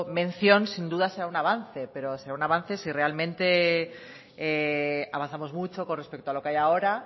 mención sin duda será un avance pero será un avance si realmente avanzamos mucho con respecto a lo que hay ahora